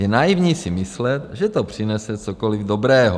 Je naivní si myslet, že to přinese cokoliv dobrého.